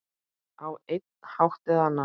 Á einn hátt eða annan.